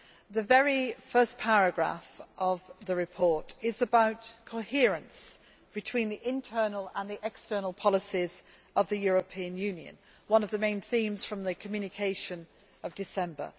The very first paragraph of the report is about coherence between the internal and external policies of the European Union one of the main themes from the Communication of December.